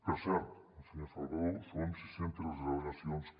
per cert senyor salvadó són sis centes les al·legacions que